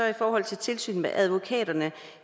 i forhold til tilsynet med advokaterne